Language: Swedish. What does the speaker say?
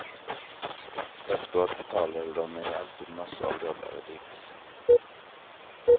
Efteråt betalade dom mej alltid massor av dollar i dricks.